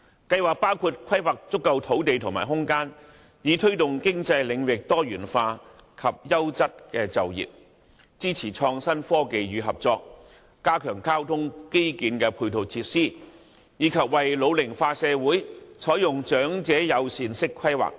計劃包括規劃足夠土地和空間，以推動經濟領域多元化及優質就業；支持創新科技與合作；加強交通基建的配套設施；以及為老齡化社會採用長者友善式規劃等。